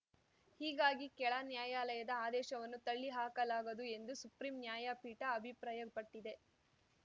ಹೀಗಾಗಿ ಕೆಳನ್ಯಾಯಾಲಯದ ಆದೇಶವನ್ನು ತಳ್ಳಿಹಾಕಲಾಗದು ಎಂದು ಸುಪ್ರೀಂ ನ್ಯಾಯಪೀಠ ಅಭಿಪ್ರಾಯಪಟ್ಟಿದೆ